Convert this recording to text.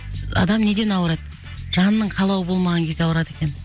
адам неден ауырады жанның қалауы болмағаннан кезде ауырады екен